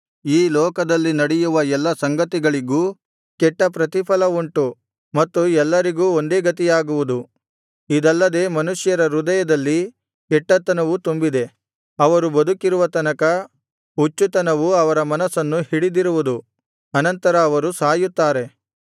ಈ ಲೋಕದಲ್ಲಿ ನಡೆಯುವ ಎಲ್ಲಾ ಸಂಗತಿಗಳಿಗೂ ಕೆಟ್ಟ ಪ್ರತಿಫಲ ಉಂಟು ಮತ್ತು ಎಲ್ಲರಿಗೂ ಒಂದೇ ಗತಿಯಾಗುವುದು ಇದಲ್ಲದೆ ಮನುಷ್ಯರ ಹೃದಯದಲ್ಲಿ ಕೆಟ್ಟತನವು ತುಂಬಿದೆ ಅವರು ಬದುಕಿರುವ ತನಕ ಹುಚ್ಚುತನವು ಅವರ ಮನಸ್ಸನ್ನು ಹಿಡಿದಿರುವುದು ಅನಂತರ ಅವರು ಸಾಯುತ್ತಾರೆ